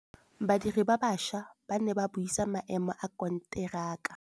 Badiri ba baša ba ne ba buisa maêmô a konteraka.